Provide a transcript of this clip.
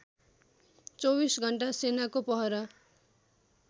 २४ घण्टा सेनाको पहरा